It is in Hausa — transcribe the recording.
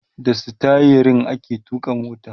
da sitayirin ake tuƙa mota